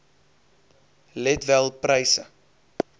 let wel pryse